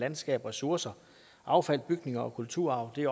landskab ressourcer affald bygninger og kulturarv det er